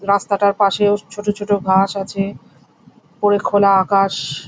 রাস্তাটার পাশেও ছোট ছোট ঘাস আছে। ওপরে খোলা আকাশ।